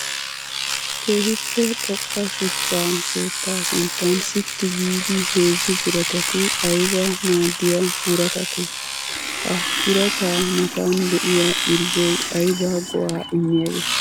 Keehippe xoqa shuchcha keetta sinttan sitti giidi heezzu biratatti aybba maadiya buratatte? Ha birata matan de'iya irzzoy aybba go'a immiyage?